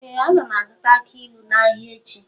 Ee, a ga m azụta aki ilu n’ahịa echi.